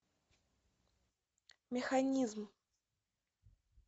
механизм